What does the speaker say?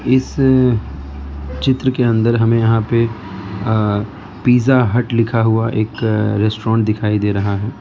इस चित्र के अंदर हमें यहां पे अ पिज़्ज़ा हट लिखा हुआ एक रेस्टोरेंट दिखाई दे रहा है।